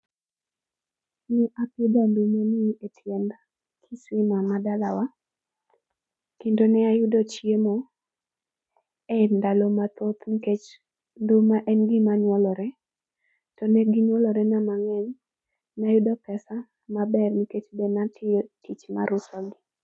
Ne apidho ndumani e tiend kisima ma dalawa, kendo ne ayudo chiemo e ndalo mathoth nkech nduma en gima nyuolore to ne ginyuolorena mang'eny. Nayudo pesa maber nkech be natiyo tich mar usogi.